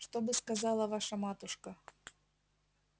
что бы сказала ваша матушка